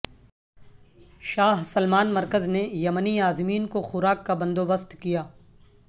شاہ سلمان مرکز نے یمنی عازمین کو خوراک کا بندوبست کیا